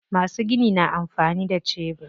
Masu gini na amfani da shebur.